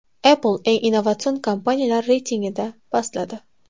Apple eng innovatsion kompaniyalar reytingida pastladi.